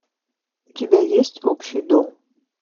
у тебя есть общий дом